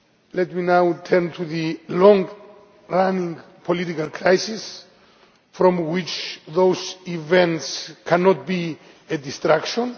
Let me now turn to the long term political crisis from which those events cannot be a distraction.